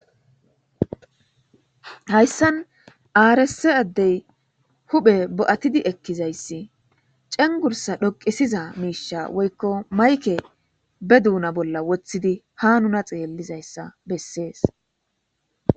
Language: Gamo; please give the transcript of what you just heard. hayssan aarese addey huphe bo'atidi ekkizayssi cengursa dhoqisiza miisha woykko mayke be duuna bolla woththidi ha nuna xeellizayssa bessees.